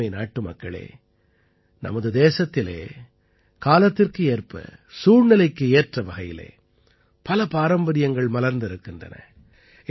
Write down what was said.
எனதருமை நாட்டுமக்களே நமது தேசத்திலே காலத்திற்கு ஏற்ப சூழ்நிலைக்கு ஏற்றவகையிலே பல பாரம்பரியங்கள் மலர்ந்திருக்கின்றன